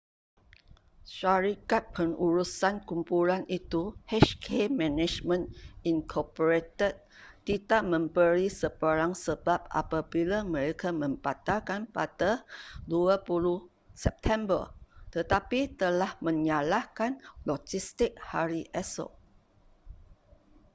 syarikat pengurusan kumpulan itu hk management inc tidak memberi sebarang sebab apabila mereka membatalkan pada 20 september tetapi telah menyalahkan logistik hari esok